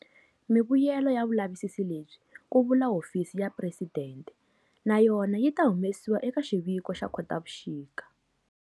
Mivuyelo ya vulavisisi lebyi, ku vula Hofisi ya Presidente, na yona yi ta humesiwa eka xiviko xa Khotavuxika.